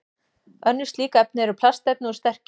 Önnur slík efni eru plastefni úr sterkju.